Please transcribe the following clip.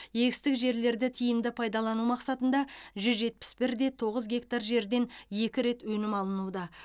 егістік жерлерді тиімді пайдалану мақсатында жүз жетпіс бірде тоғыз гектар жерден екі рет өнім алынуда